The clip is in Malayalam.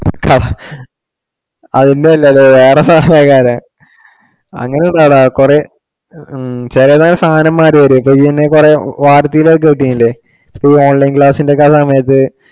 അതിന്റെ അല്ല വേറെ സാധനത്തിന്റെ കാര്യവാ. അങ്ങിനല്ലടാ കുറെ ഹും ചിലതൊക്കെ സാധനം മാറി വരും ഇപ്പൊ ഇയ്യ് തന്നെ കുറെ ഇല്ലേ online class ഇന്റെ ഒക്കെ സമയത്ത്‌